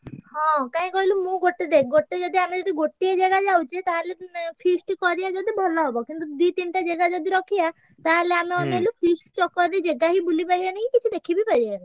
ହଁ କାଇଁ କହିଲୁ ମୁଁ ଗୋଟେ ଦେଖ ଗୋଟେ ଯଦି ଆମେ ଗୋଟିଏ ଜାଗା ଯାଉଛେ ତାହେଲେ feast କରିଆ ଯଦି ଭଲ ହବ କିନ୍ତୁ ଦି ତିନଟା ଜେଗା ଯଦି ରଖିଆ ତାହେଲେ ଆମେ ଅନେଇଲୁ feast ଚକ୍କର ରେ ଜେଗା ହିଁ ବୁଲି ପରିଆନି କି କିଛି ଦେଖିବି ପାରିଆନି।